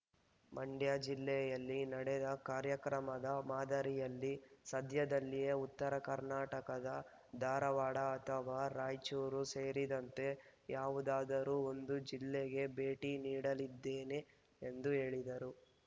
ಮಂಡ್ಯ ಜಿಲ್ಲೆಯಲ್ಲಿ ನಡೆದ ಕಾರ್ಯಕ್ರಮದ ಮಾದರಿಯಲ್ಲಿ ಸದ್ಯದಲ್ಲಿಯೇ ಉತ್ತರ ಕರ್ನಾಟಕದ ಧಾರವಾಡ ಅಥವಾ ರಾಯಚೂರು ಸೇರಿದಂತೆ ಯಾವುದಾದರೂ ಒಂದು ಜಿಲ್ಲೆಗೆ ಭೇಟಿ ನೀಡಲಿದ್ದೇನೆ ಎಂದು ಹೇಳಿದರು